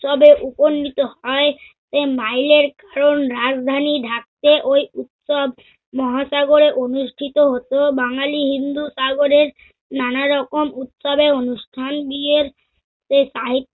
উৎসবে উপনীত হয়। সেই mile এর কারণ রাজধানী ঢাকতে ঐ উৎসব মহাসাগরে অনুষ্ঠিত হতেও বাঙ্গালী হিন্দু সাগরের নানারকম উৎসবে অনুষ্ঠান বিয়েতে সাহিত্য